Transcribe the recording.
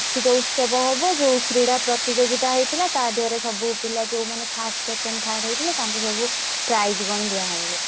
ପ୍ରତିଯୋଗୀତା ହେଇଥିଲା ତା ଧେରେ ସବୁ ପିଲା ଯଉ ମାନେ first, second, third ହେଇଥିଲେ ତାଂକୁ ସବୁ lang:Foreign prize lang:Foreign କଣ ଦିଆହବ ବୋଧେ।